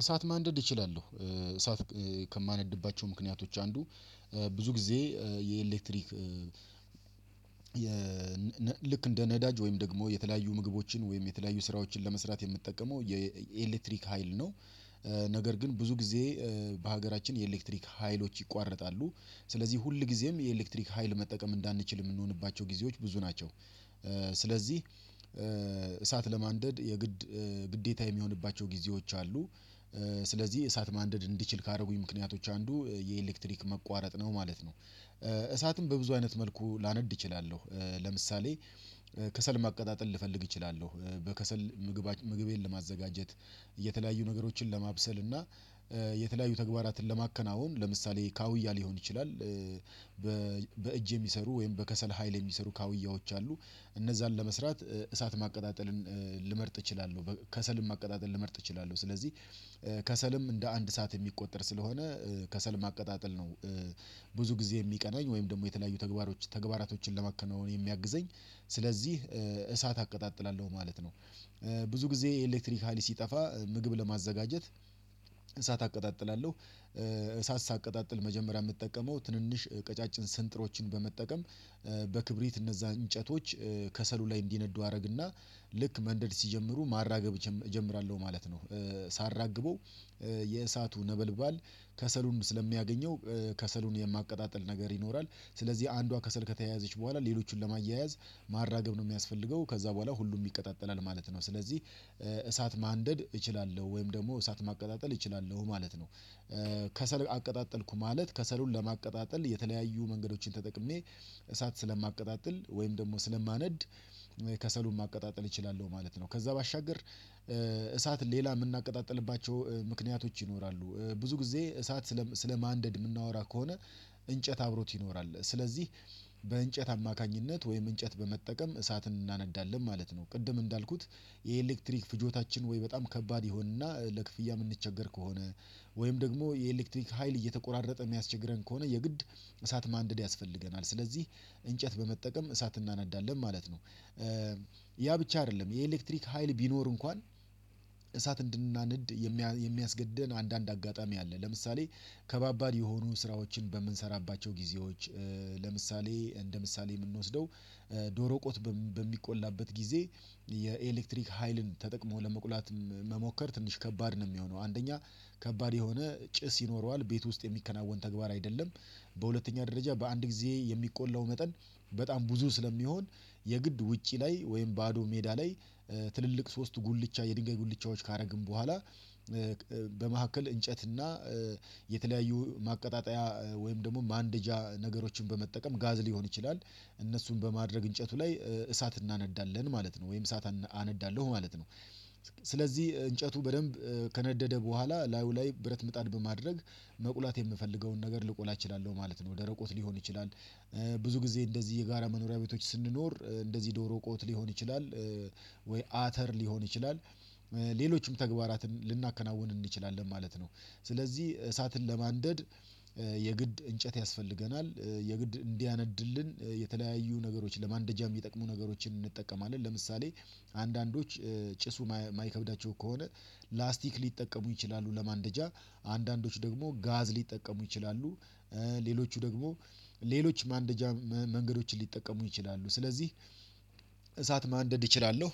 እሳት ማንደድ እችላለሁ እሳት ከማነድባቸው ምክንያቶች አንዱ ብዙ ጊዜ የኤሌክትሪክ ልክ እንደ ነዳጅ ወይም ደግሞ የተለያዩ ምግቦችን ወይም የተለያዩ ስራዎችን ለመስራት የምትጠቀመው የኤሌክትሪክ ሀይል ነው። ነገር ግን ብዙ ጊዜ በሀገራችን የኤሌክትሪክ ሀይሎች ይቋረጣሉ ስለዚህ ሁል ጊዜም የኤሌክትሪክ ሀይል መጠቀም እንዳንችል የምንሆንባቸው ጊዜዎች ብዙ ናቸው። ስለዚህ እሳት ለማንደድ የግድ ግዴታ የሚሆንባቸው ጊዜዎች አሉ። ስለዚህ እሳት ማንደድ እንዲችል ካደረጉኝ ምክንያቶች አንዱ የኤሌክትሪክ መቋረጥ ነው ማለት ነው። እሳትም በብዙ አይነት መልኩ ላነድ እችላለሁ ለምሳሌ። ከሰል ማቀጣጠል ልፈልግ እችላለሁ በከሰል ምግቤን ለማዘጋጀት የተለያዩ ነገሮችን ለማብሰል እና የተለያዩ ተግባራትን ለማከናወን ለምሳሌ ካውያ ሊሆን ይችላል። በእጅ የሚሰሩ ወይም በከሰል ሀይል የሚሰሩ ካውያዎች አሉ እነዛን ለመስራት እሳት ማቀጣጠልን ልመርጥ እችላለሁ። ከሰልም ማቀጣጠል ልመርጥ እችላለሁ ስለዚህ ከሰልም እንደ አንድ እሳት የሚቆጠር ስለሆነ ከሰል ማቀጣጠል ነው። ብዙ ጊዜ የሚቀናኝ ወይም ደግሞ የተለያዩ ተግባራቶችን ለማከናወን የሚያግዘኝ ስለዚህ እሳት አቀጣጥላለሁ ማለት ነው። ብዙ ጊዜ ኤሌክትሪካሊ ሲጠፋ ምግብ ለማዘጋጀት እሳት አቀጣጥላለሁ። እሳት ሳቀጣጥል መጀመሪያ የምጠቀመው ትንንሽ ቀጫጭን ስንጥሮችን በመጠቀም በክብሪት እነዛ እንጨቶች ከሰሉ ላይ እንዲነዱ አደረግና ልክ መንደድ ሲጀምሩ ማራገብ እጀምራለሁ ማለት ነው። ሳራግበው የእሳቱ ነበልባል ከሰሉን ስለሚያገኘው ከሰሉን የማቀጣጥል ነገር ይኖራል ስለዚህ አንዷ ከስል ከተያዘች በኋላ ሌሎቹን ለማያያዝ ማራገብ ነው የሚያስፈልገው ከዛ በኋላ ሁሉም ይቀጣጠላል ማለት ነው። ስለዚህ እሳት ማንደድ እችላለሁ ወይም ደግሞ እሳት ማቀጣጠል እችላለሁ ማለት ነው። ከሰል አቀጣጠልኩ ማለት ከሰሉን ለማቀጣጠል የተለያዩ መንገዶችን ተጠቅሜ እሳት ስለማቀጣጥል ወይም ደግሞ ስለማነድ ከሰሉን ማቀጣጠል እችላለሁ ማለት ነው። ከዛ ባሻገር እሳት ሌላ ምናቀጣጥልባቸው ምክንያቶች ይኖራሉ ብዙ ጊዜ እሳት ስለ ስለማንደድ የምናወራ ከሆነ እንጨት አብሮት ይኖራል ስለዚህ በእንጨት አማካኝነት ወይም እንጨት በመጠቀም እሳት እናነዳለን ማለት ነው። ቅድም እንዳልኩት የኤሌክትሪክ ፍጆታችን ወይ በጣም ከባድ ይሆንና ለክፍያ የምንቸገር ከሆነ ወይም ደግሞ የኤሌክትሪክ ሀይል እየተቆራረጠ የሚያስቸግረን ከሆነ የግድ እሳት ማንደድ ያስፈልገናል ስለዚህ እንጨት በመጠቀም እሳት እናነዳለን ማለት ነው። ያ ብቻ አይደለም የኤሌክትሪክ ሀይል ቢኖር እንኳን እሳት እንድናነድ የሚያስገደን አንዳንድ አጋጣሚ አለ። ለምሳሌ ከባባድ የሆኑ ስራዎችን በምንሰራባቸው ጊዜዎች ለምሳሌ እንደ ምሳሌ ምንወስደው ዶሮ ቆት በሚቆላበት ጊዜ የኤሌክትሪክ ሀይልን ተጠቅሞ ለመቁላት መሞከር ትንሽ ከባድ ነው የሚሆነው አንደኛ ከባድ የሆነ ጭስ ይኖረዋል ቤት ውስጥ የሚከናወን ተግባር አይደለም። በሁለተኛ ደረጃ በአንድ ጊዜ የሚቆላው መጠን በጣም ብዙ ስለሚሆን የግድ ውጪ ላይ ወይም ባዶ ሜዳ ላይ ትልልቅ ሶስት ጉልቻ የድንጋይ ጉልቻዎች ካደረግን በኋላ በመካከል እንጨትና የተለያዩ ማቀጣጠያ ወይም ደግሞ ማንደጃ ነገሮችን በመጠቀም ጋዝ ሊሆን ይችላል እነሱን በማድረግ እንጨቱ ላይ እሳት እናነዳለን ማለት ነው። ወይም እሳት አነዳለሁ ማለት ነው ስለዚህ እንጨቱ በደንብ ከነደደ በኋላ ላዩ ላይ ብረት ምጣድ በማድረግ መቁላት የምፈልገውን ነገር ልቆላ እችላለሁ ማለት ነው። ደረቆት ሊሆን ይችላል ብዙ ጊዜ እንደዚህ የጋራ መኖሪያ ቤቶች ስንኖር እንደዚህ ዶሮ ቆት ሊሆን ይችላል ወይ አተር ሊሆን ይችላል ሌሎችም ተግባራትን ልናከናውን እንችላለን ማለት ነው። ስለዚህ እሳትን ለማንደድ የግድ እንጨት ያስፈልገናል የግድ እንዲያነድልን የተለያዩ ነገሮች ለማንደጃም የሚጠቅሙ ነገሮችን እንጠቀማለን ለምሳሌ አንዳንዶች ጭሱ ማይከብዳቸው ከሆነ ላስቲክ ሊጠቀሙ ይችላሉ ለማንደጃ አንዳንዶች ደግሞ ጋዝ ሊጠቀሙ ይችላሉ። ሌሎቹ ደግሞ ሌሎች ማንደጃ መንገዶችን ሊጠቀሙ ይችላሉ ስለዚህ እሳት ማንደድ እችላለሁ።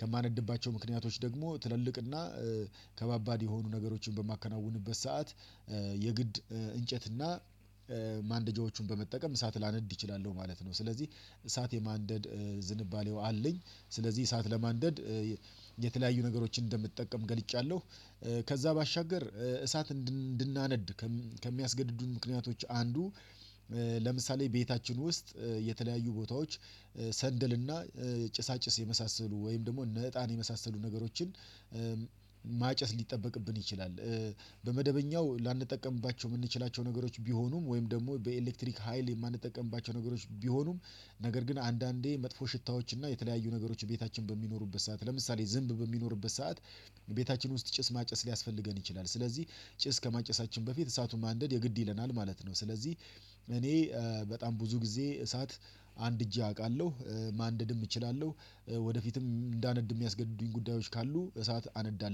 ከማንደድባቸው ምክንያቶች ደግሞ ትልልቅና ከባባድ የሆኑ ነገሮችን በማከናውንበት ሰዓት የግድ እንጨት እና ማንደጃዎቹን በመጠቀም እሳት ላነድ ይችላሉ ማለት ነው። ስለዚህ እሳት የማንደድ ዝንባሌው አለኝ ስለዚህ እሳት ለማንደድ የተለያዩ ነገሮችን እንደምትጠቀም ገልጫለሁ። ከዛ ባሻገር እሳት እንድናነድ ከሚያስገድዱን ምክንያቶች አንዱ ለምሳሌ ቤታችን ውስጥ የተለያዩ ቦታዎች ሰንደል እና ጭሳጭስ የመሳሰሉ ወይም ደግሞ እነ እጣን የመሳሰሉ ነገሮችን ማጨስ ሊጠበቅብን ይችላል። በመደበኛው ላንጠቀምባቸው የምንችላቸው ነገሮች ቢሆኑም ወይም ደግሞ በኤሌክትሪክ ሀይል የማንጠቀምባቸው ነገሮች ቢሆኑም ነገር ግን አንዳንዴ መጥፎ ሽታዎች እና የተለያዩ ነገሮች ቤታችን በሚኖሩበት ሰዓት ለምሳሌ ዝንብ በሚኖሩበት ሰዓት ቤታችን ውስጥ ጭስ ማጨስ ሊያስፈልገን ይችላል። ስለዚህ ጭስ ከማጨሳችን በፊት እሳቱን ማንደድ የግድ ይለናል ማለት ነው። ስለዚህ እኔ በጣም ብዙ ጊዜ እሳት አንድጄ አውቃለሁ ማንደድም እችላለሁ። ወደፊትም እንዳነድ የሚያስገድዱኝ ጉዳዮች ካሉ እሳት አነዳለሁ